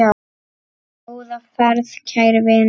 Góða ferð, kæri vinur.